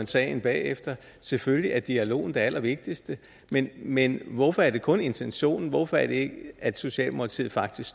sagen bagefter selvfølgelig er dialogen det allervigtigste men men hvorfor er det kun intentionen hvorfor er det at socialdemokratiet faktisk